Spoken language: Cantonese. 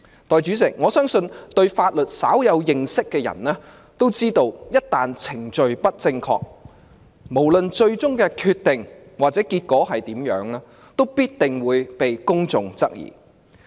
代理主席，我相信對法律稍有認識的人也知道，一旦程序不正確，無論最終的決定或結果如何，也必定會被公眾質疑。